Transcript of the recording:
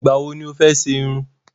Ìgbà wo ni o fẹ́ ṣe irun?